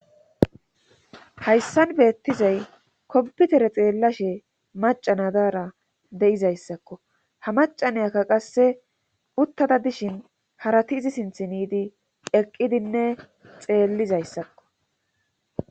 hayssan beettizay kompitere xeellashe macanadara de7izayssakko ha macanayakka qasse uttada dishin harati izi sinthiniidi eqqidinne xeellizayssakko